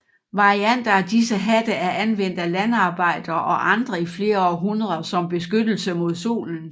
Varianter af disse hatte er anvendt af landarbejdere og andre i flere århundreder som beskyttelse mod solen